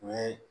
U ye